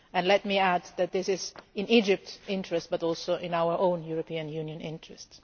Let me add that this is not only in Egypt's interest but also in our own European Union interest.